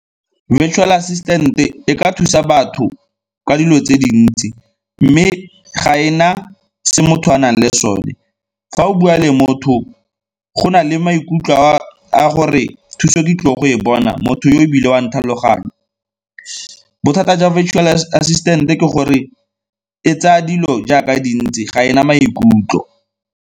Virtual assistant-e ka thusa batho ka dilo tse dintsi mme ga e na se motho a nang le sone. Fa o bua le motho go na le maikutlo a gore thuso ke tlile go e bona, motho yo ebile o a ntlhaloganya. Bothata jwa virtual assistant-e ke gore e tsaya dilo jaaka dintsi ga e na maikutlo.